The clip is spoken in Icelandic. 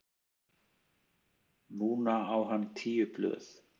Núna á hann tíu blöð.